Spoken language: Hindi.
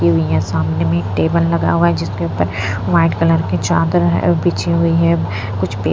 हुई है सामने में एक टेबल लगा हुआ है जिसके ऊपर व्हाइट कलर की चादर है अ बिछी हुई है कुछ --